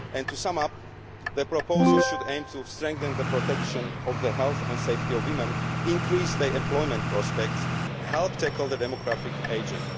To sum up, the proposal should aim to strengthen the protection of the health and safety of women, increase their employment prospects and help tackle demographic ageing.